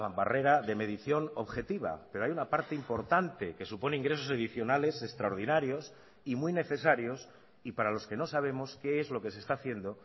barrera de medición objetiva pero hay una parte importante que supone ingresos adicionales extraordinarios y muy necesarios y para los que no sabemos qué es lo que se está haciendo